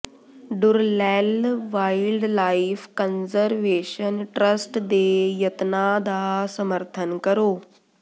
ਡੁਰਲੈੱਲ wildlife conservation trust ਦੇ ਯਤਨਾਂ ਦਾ ਸਮਰਥਨ ਕਰੋ